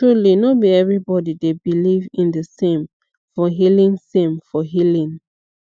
truly no be everybody dey beleive in the same for healing same for healing